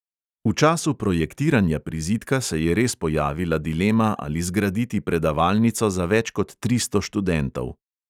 V času projektiranja prizidka se je res pojavila dilema, ali zgraditi predavalnico za več kot tristo študentov.